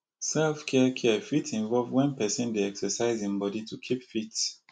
self care care fit involve when person dey exercise im body to keep fit